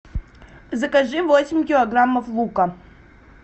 закажи восемь килограммов лука